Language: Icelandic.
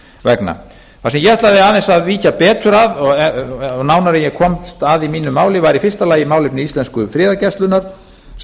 vegna það sem ég ætlaði aðeins að víkja betur að og nánar en ég komst að í mínu máli var í fyrsta lagi málefni íslensku friðargæslunnar sem